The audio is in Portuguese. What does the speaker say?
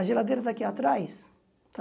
A geladeira daqui atrás, tá?